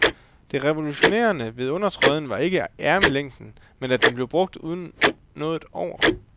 Det revolutionerende ved undertrøjen var ikke ærmelængden, men at den blev brugt uden noget over.